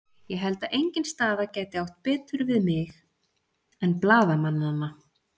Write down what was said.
Ég held að engin staða gæti átt betur við mig en blaðamannanna.